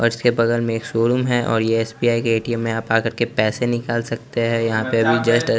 और उसके बगल में एक शोरूम है और ये एस_बी_आई के ए_टी_एम में आप आकर के पैसे निकाल सकते हैं यहां पे अभी जस्ट --